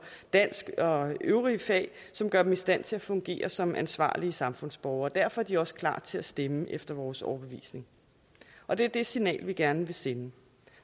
dansk og øvrige fag som gør dem i stand til at fungere som ansvarlige samfundsborgere derfor er de også klar til at stemme efter vores overbevisning og det er det signal vi gerne vil sende